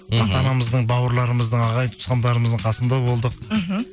ата анамыздың бауырларымыздың ағайын туысқандарымыздың қасында болдық мхм